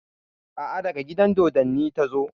A'a, daga gidan dodonni ta zo.